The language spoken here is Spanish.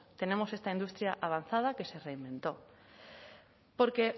tenemos esta industria avanzada que se reinventó porque